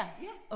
Ja